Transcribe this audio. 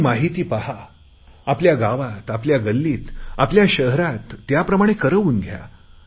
ती माहिती पहा आपल्या गावात आपल्या गल्लीत आपल्या शहरात त्याप्रमाणे करवून घ्या